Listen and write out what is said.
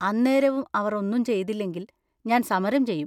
അന്നേരവും അവർ ഒന്നും ചെയ്തില്ലെങ്കിൽ, ഞാൻ സമരം ചെയ്യും.